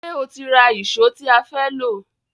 Ṣé o ti ra ìṣó tí a fẹ́ lò